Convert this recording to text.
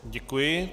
Děkuji.